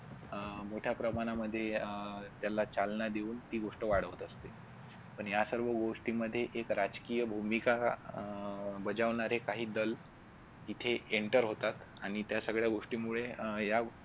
अह मोठ्या प्रमाणामध्ये अह त्याला चालना देऊन ती गोष्ट वाढवत असते. पण या सर्व गोष्टींमध्ये एक राजकीय भूमिका अह बजावणारे काही दल येथे enter होतात आणि त्या सगळ्या गोष्टींमुळे या